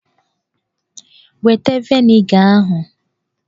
Weta vịnịga ahụ!